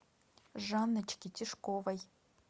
жанночке тишковой